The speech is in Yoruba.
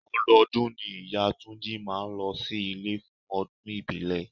Ọdọọdún ni ìyá túnjí máa ń ló sí ilé fún ọdún ìbílẹ̀.